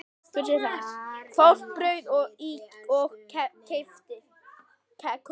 Fólk bauð í og keypti.